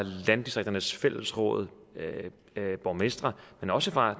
landdistrikternes fællesråd og borgmestre men også fra